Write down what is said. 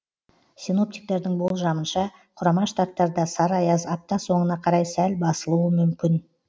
синоптиктердің болжамынша құрама штаттарда сары аяз апта соңына қарай сәл басылуы мүмкін